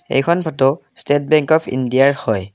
এইখন photo state bank of ইণ্ডিয়াৰ হয়।